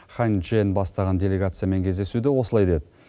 хань чжэн бастаған делегациямен кездесуде осылай деді